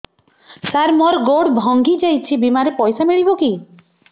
ସାର ମର ଗୋଡ ଭଙ୍ଗି ଯାଇ ଛି ବିମାରେ ପଇସା ମିଳିବ କି